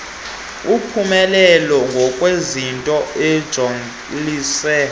uphumelele ngokwezinto ojoliswe